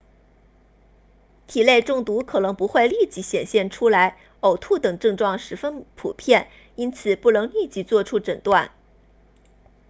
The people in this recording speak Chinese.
体内中毒可能不会立即显现出来呕吐等症状十分普遍因此不能立即作出诊断